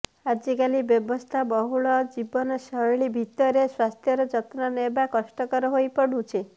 ଆଜିକାଲି ବ୍ୟସ୍ତବହୁଳ ଜୀବନଶୈଳୀ ଭିତରେ ସ୍ବାସ୍ଥ୍ୟର ଯତ୍ନ ନେବା କଷ୍ଟକର ହୋଇପଡୁଛି